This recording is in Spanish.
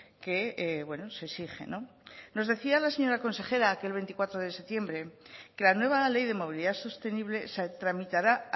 que se exige nos decía la señora consejera aquel veinticuatro de septiembre que la nueva ley de movilidad sostenible se tramitará